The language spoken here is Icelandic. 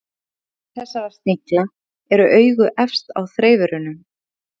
Á höfði þessara snigla eru augu efst á þreifurunum.